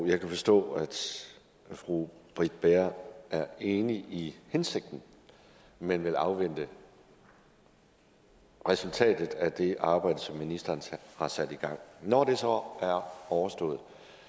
jeg kan forstå at fru britt bager er enig i hensigten men vil afvente resultatet af det arbejde som ministeren har sat i gang når det så er overstået